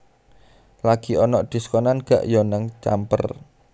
Lagi onok diskonan gak yo nang Camper?